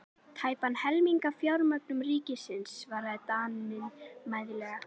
Tæpan helming af fjárlögum ríkisins, svaraði Daninn mæðulega.